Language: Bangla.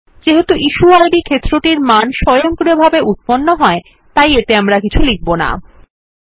যেহেতু ইশুয়েইড ক্ষেত্রটি মান স্বয়ংক্রিয়ভাবে উত্পন্ন হয় আমরা এতে কিছু লিখব না